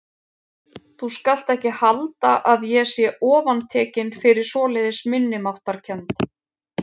Þú skalt ekki halda að ég sé ofantekinn fyrir svoleiðis minnimáttarkennd.